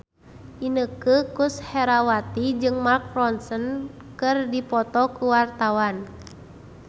Inneke Koesherawati jeung Mark Ronson keur dipoto ku wartawan